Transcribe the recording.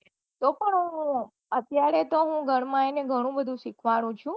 તો પન હું અત્યારે તો હું ઘર માં એને ઘણું બઘુ સીખાડવું છુ